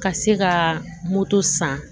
Ka se ka moto san